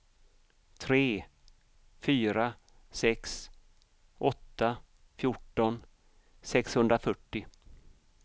tre fyra sex åtta fjorton sexhundrafyrtio